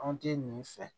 An tɛ nin fɛ